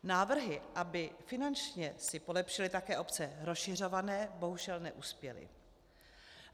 Návrhy, aby finančně si polepšily také obce rozšiřované, bohužel neuspěly.